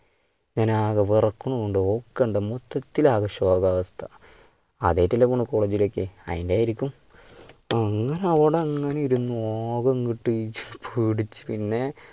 ഞാനാകെ വിറക്കുന്നുണ്ട് ഒക്കെണ്ടെന്ന് മൊത്തത്തിൽ ആകെ ശോകാവസ്ഥ. ആദ്യായിയിട്ടല്ലേ പോണ് college ലേക്ക് അതിൻ്റെ ആയിരിക്കും അങ്ങനെ അവിടെ അങ്ങനെ ഇരുന്നു ആകെങ്ങട്ട് പേടിച്ചു പിന്നെ